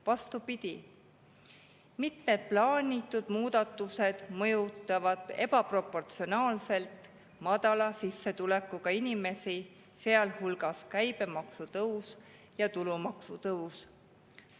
Vastupidi, mitmed plaanitud muudatused mõjutavad ebaproportsionaalselt madala sissetulekuga inimesi, sealhulgas käibemaksu tõus ja tulumaksu tõus.